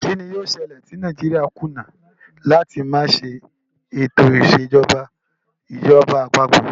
Kín ni yóò ṣẹlẹ̀ tí Nàìjíríà kùnà láti máa ṣe ètò ìṣèjọba ìjọba àpapọ̀?